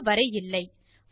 அதற்கு வரை இல்லை